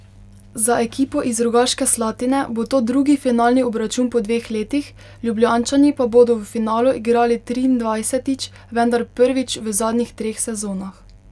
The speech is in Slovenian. Za ekipo iz Rogaške Slatine bo to drugi finalni obračun po dveh letih, Ljubljančani pa bodo v finalu igrali triindvajsetič, vendar prvič v zadnjih treh sezonah.